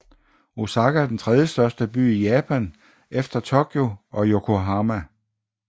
Osaka er den tredjestørste by i Japan efter Tokyo og Yokohama